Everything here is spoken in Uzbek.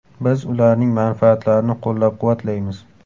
Biz ularning manfaatlarini qo‘llab-quvvatlaymiz.